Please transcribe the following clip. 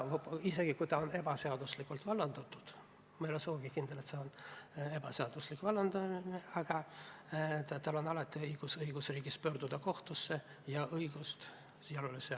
Isegi kui ta on ebaseaduslikult vallandatud – ma ei ole sugugi kindel, et see on ebaseaduslik vallandamine –, on tal õigusriigis alati õigus pöörduda kohtusse ja õiglus jalule seada.